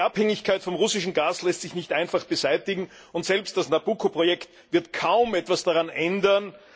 Denn die Abhängigkeit vom russischen Gas lässt sich nicht einfach beseitigen, und selbst das Nabucco Projekt wird kaum etwas daran ändern.